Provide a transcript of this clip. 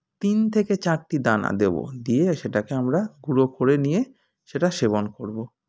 তিন থেকে চারটি দানা দেব দিয়ে সেটাকে আমরা গুঁড়ো করে নিয়ে সেটাকে সেবন করবো